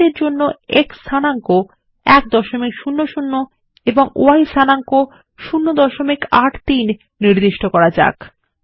chart এর জন্য X স্থানাঙ্ক 100 এবং ওয়াই স্থানাঙ্ক 083 নির্ধারণ করা যাক